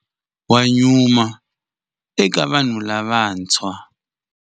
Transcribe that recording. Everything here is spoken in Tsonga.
Wa nyuma eka vanhu lavantshwa.